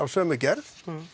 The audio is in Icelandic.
sömu gerð